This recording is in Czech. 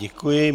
Děkuji.